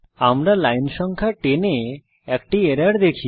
আমরা লাইন সংখ্যা 10 এ একটি এরর দেখি